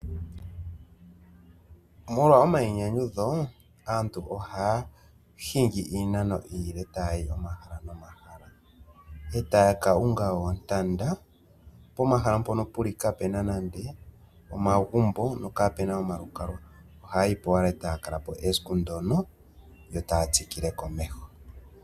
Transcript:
Molwa omayinyanyudho aantu ohaya hingi iinano iile tayayi komahala nomahala. Etaya ka ninga oontanda pomahala mpono kapuna omagumbo nomalukalwa oha kalapo esiku limwe etaya tsikile komeho.